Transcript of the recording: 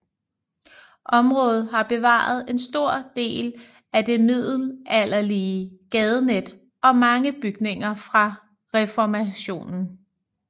Området har bevaret en stor del af det middelalderlige gadenet og mange bygninger fra reformationen